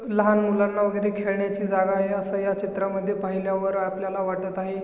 लहान मुलांना वेगेरे खेळण्याची जागा आहे अस ह्या चित्रा मध्ये पाहिल्यावर आपल्याला वाटत आहे.